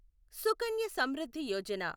Sukanya Samriddhi Yojana